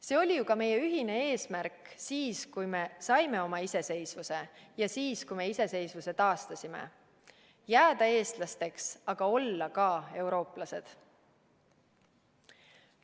See oli ju ka meie ühine eesmärk siis, kui me saime oma iseseisvuse, ja siis, kui me iseseisvuse taastasime: jääda eestlasteks, aga olla ka eurooplased.